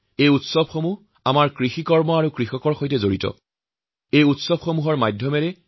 এই সকলো উৎসৱ পাৰ্বণ কিবা নহয় কিবা প্ৰকাৰে আমাৰ কৃষিকাৰ্য আৰু অন্নদাতাসকলৰ সৈতে জডিত হৈ আছে